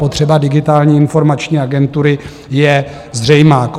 Potřeba Digitální informační agentury je zřejmá.